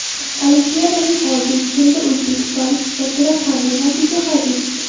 Olimpiadaning oltinchi kunida o‘zbekistonlik sportchilar qanday natija qayd etishdi?.